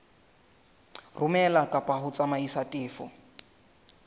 romela kapa ho tsamaisa tefo